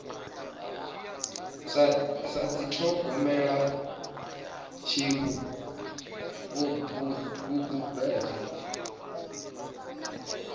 sa dithogomela hu tshi vhambedzwa